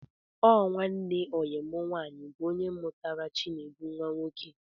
Ọ nwanne oyi mụ nwaanyị bụ ónyé mụtara Chinedu nwa nwoke